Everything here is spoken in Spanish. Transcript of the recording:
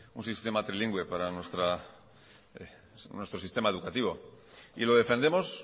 un sistema trilingüe para nuestros sistema educativo y lo defendemos